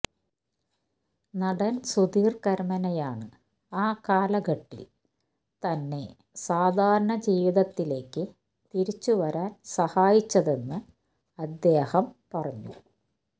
നടൻ സുധീർ കരമനയാണ്ആ കാലഘട്ടിൽ തന്നെ സാധാരണ ജീവിതത്തിലേക്ക് തിരിച്ചു വരാൻ സഹായിച്ചതെന്ന് അദ്ദേഹം പറഞ്ഞു